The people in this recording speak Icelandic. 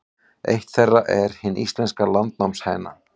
Eitt þeirra er hin íslenska landnámshæna.